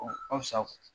Ɔ asa